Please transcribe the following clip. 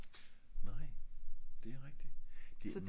nej det er rigtig